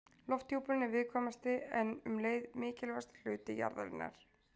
Lofthjúpurinn er viðkvæmasti en um leið mikilvægasti hluti jarðarinnar.